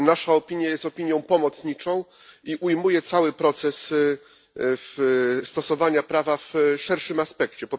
Nasza opinia jest opinią pomocniczą i ujmuje cały proces stosowania prawa w szerszym aspekcie.